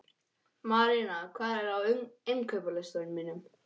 Marína, hvað er á innkaupalistanum mínum?